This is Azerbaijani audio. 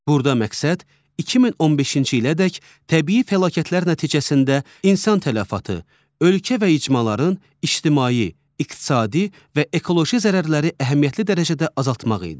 Burada məqsəd 2015-ci ilədək təbii fəlakətlər nəticəsində insan tələfatı, ölkə və icmaların ictimai, iqtisadi və ekoloji zərərləri əhəmiyyətli dərəcədə azaltmaq idi.